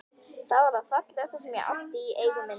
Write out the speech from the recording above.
Það var það fallegasta sem ég átti í eigu minni.